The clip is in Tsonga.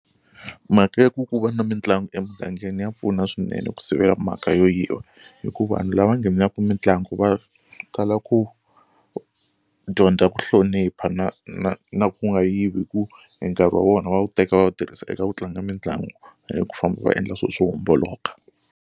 Mhaka ya ku ku va na mitlangu emugangeni ya pfuna swinene ku sivela mhaka yo yiva hi ku vanhu lava nghenaka mitlangu va tala ku dyondza ku hlonipha na na na ku nga yivi hi ku e nkarhi wa vona va wu teka va wu tirhisa eka ku tlanga mitlangu hayi ku famba va endla swilo swo homboloka.